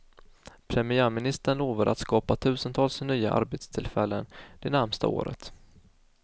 Premiärministern lovade att skapa tusentals nya arbetstillfällen det närmaste året.